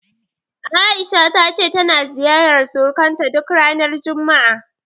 A'isha ta ce tana ziyarar surukanta duk ranar juma'a.